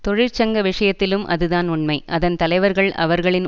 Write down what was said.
தொழிற்சங்க விஷயத்திலும் அதுதான் உண்மை அதன் தலைவர்கள் அவர்களின்